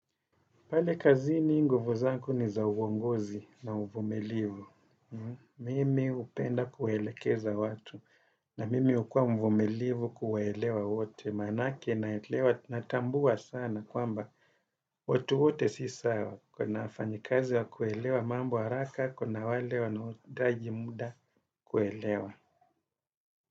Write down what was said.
Pale kazini nguvu zangu ni za uongozi na uvumilivu. Mimi hupenda kuelekeza watu. Na mimi hukua mvumilivu kuwaelewa wote. Manake naelewa natambua sana kwamba watu wote si sawa. Kuna wafanyikazi wa kuelewa mambo haraka kuna wale wanaotaji muda kuelewa.